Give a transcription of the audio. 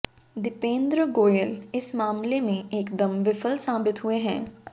दीपेंद्र गोयल इस मामले में एकदम विफल साबित हुए हैं